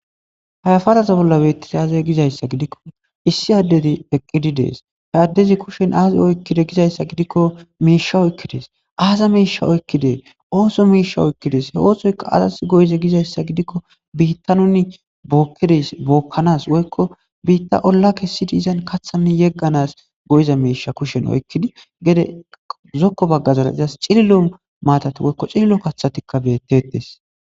Hayafadaza bolla beettis aaze gizayssa gidikko issi addeti eqqidi dees he addezi kushen aazi oykkide gizayssa gidikko miisha oykkidees aaza miisha oykkidees ooso miisha oykkidees he oosoyka azas go'ize gizayssa gidikko biitta nuni bookkides bookkanas woykko biitta olla ke sidi izan kathanni yegganas go'iza miisha kushen oykkidi gede zokko baggazara izas xililo maatat woykko xililo kathatikka beettetes.